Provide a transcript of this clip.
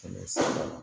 Kɛmɛ saba